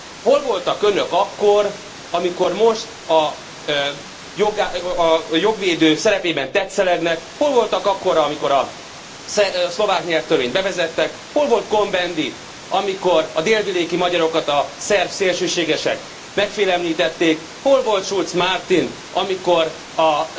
Hol voltak Önök akkor, amikor most a jogvédők szerepében tetszelegnek, hol voltak akkor, amikor a szlovák nyelvtörvényt bevezették, hol volt Cohn Bendit, amikor a délvidéki magyarokat a szerb szélsőségesek megfélemlítették, hol volt Schulz Martin, amikor a